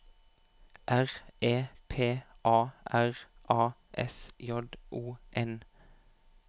R E P A R A S J O N